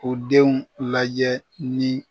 U denw lajɛ ni